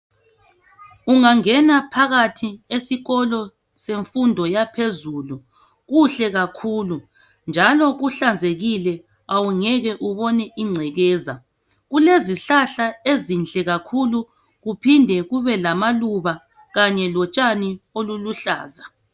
Ungangena phakathi esikolo semfundo yaphezulu kuhle kakhulu njalo kuhlanzekile awungeke ubone ingcekeza kulezihlahla ezinhle kakhulu kuphinde kube lamaluba kanye lotshani oluluhlaza.